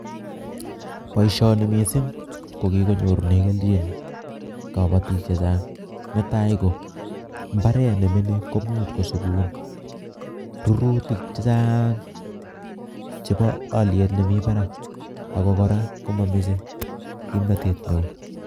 poishoni misisng kokinyorunee kelchin kapatik chechang .netai kombaret neminit komuch kosuspun rurtik chechaang chepo alyet nemi parak ako koraa mameche kimnatet neo.